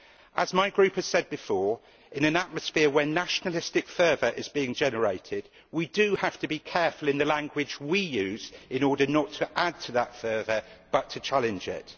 As my group has said before, in an atmosphere where nationalistic fervour is being generated, we have to be careful of the language we use in order not to add to that further, but to challenge it.